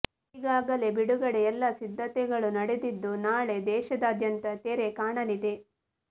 ಈಗಾಗಲೇ ಬಿಡುಗಡೆಗೆ ಎಲ್ಲಾ ಸಿದ್ಧತೆಗಳು ನಡೆದಿದ್ದು ನಾಳೆ ದೇಶದಾದ್ಯಂತ ತೆರೆ ಕಾಣಲಿದೆ